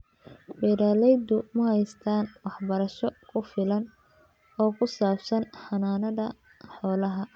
Beeraleydu ma haystaan ??waxbarasho ku filan oo ku saabsan xanaanada xoolaha.